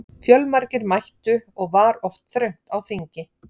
Fjölmargir mættu og var oft þröngt á þingi.